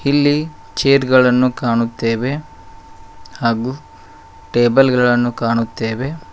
ಇಲ್ಲಿ ಚೇರ್ ಗಳನ್ನು ಕಾಣುತ್ತೇವೆ ಹಾಗೂ ಟೇಬಲ್ ಗಳನ್ನು ಕಾಣುತ್ತೇವೆ.